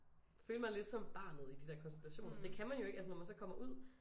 Føle mig lidt som barnet i de der konstellationer det kan man jo ikke altså når man så kommer ud